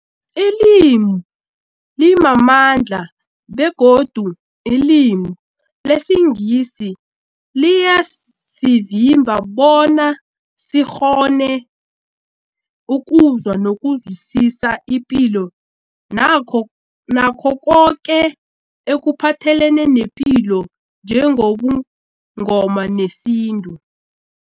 Ilimi limamandla begodu ilimi lesiNgisi liyasivimba bona sikghone ukuzwa nokuzwisisa ipilo nakho nakho koke ekuphathelene nepilo njengobuNgoma nesintu.